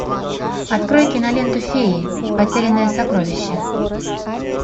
открой киноленту феи потерянное сокровище